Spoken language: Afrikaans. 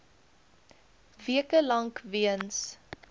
weke lank weens